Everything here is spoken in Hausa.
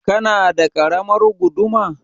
Kana da ƙaramar guduma?